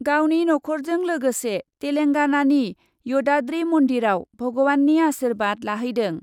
गावनि नखरजों लोगोसे तेलेंगानानि यदाद्रि मन्दिरआव भगवाननि आर्सिबाद लाहैदों ।